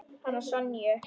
Hana Sonju?